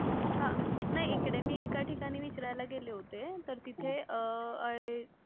हा नाही इकडे मी एका ठिकाणी विचारायला गेले होते. तर तिथे अं अह